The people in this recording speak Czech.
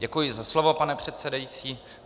Děkuji za slovo, pane předsedající.